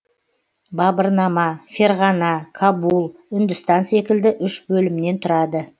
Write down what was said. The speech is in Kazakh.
бабырнама ферғана кабул үндістан секілді үш бөлімнен тұрады